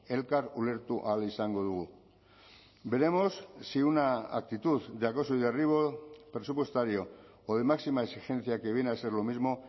elkar ulertu ahal izango dugu veremos si una actitud de acoso y derribo presupuestario o de máxima exigencia que viene a ser lo mismo